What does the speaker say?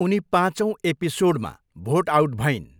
उनी पाँचौँ एपिसोडमा भोट आउट भइन्।